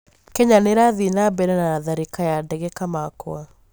Kenya nĩrathiĩ na mbere na tharĩkĩra ya ndege Kamakwa